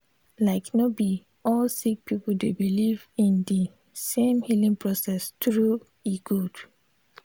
like no bi all sik pipul dey biliv in di sem healing process tru e gud